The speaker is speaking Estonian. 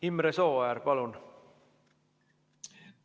Imre Sooäär, palun!